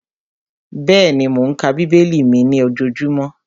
Bẹ́ẹ̀ni, mò ń ka bíbélì mi ní ojojúmọ́